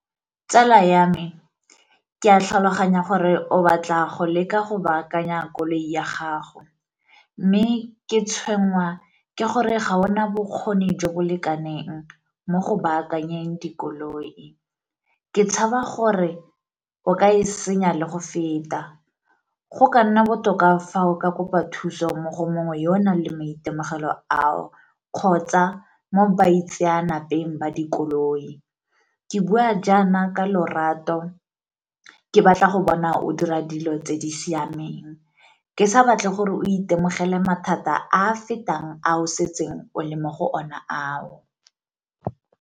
Tsala ya me, ke a tlhaloganya gore o batla go leka go baakanya koloi ya gago. Mme ke tshwenngwa ke gore ga ona bokgoni jo bo lekaneng mo go baakanyeng dikoloi, ke tshaba gore o ka e senya le go feta. Go ka nna botoka fa o ka kopa thuso mo go mongwe yo o nang le maitemogelo ao kgotsa mo baitseanapeng ba dikoloi. Ke bua jaana ka lorato ke batla go bona o dira dilo tse di siameng, ke sa batle gore o itemogele mathata a a fetang a o setseng o le mo go ona ao.